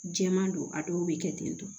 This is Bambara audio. Jɛman don a dɔw bɛ kɛ ten tɔ